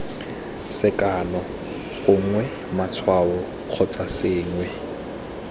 sekano gongwe matshwao kgotsa sengwe